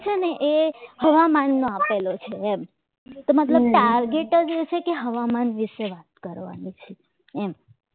છે ને એ હવામાનમાં આપેલો છે એમ તો મતલબ target જ છે એ છે કે હવામાન વિશે વાત કરવાની છે એમ